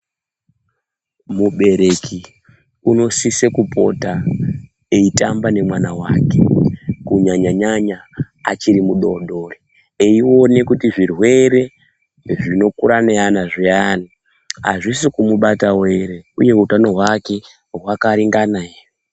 Mubereki unosisa kupota eitamba nevana vake kunyanya-nyanya achiri mudodori. Eione kuti zvirwere zvinokura neana zviyani hazvisi kumubatavo ere, uye utano hwake hwakaringana ere.